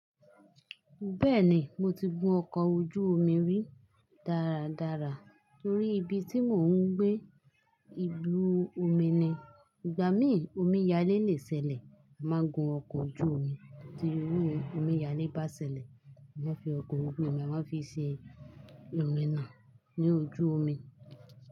Bẹ́ẹ̀ni, mo ti gun ọkọ̀ ojú omi rí dáradára torí ibi tí mò ń gbé, ìlú omi ni. Ìgbà mí omi yálé lè ṣẹlẹ̀, a máa gun ọkọ̀ ojú omi tí irú omi yálé bá ṣẹlẹ̀, a máa fi ọkọ̀ ojú omi, a máa fi ṣe irun iná ní ojú omi.